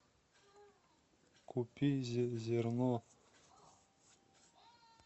купи зерно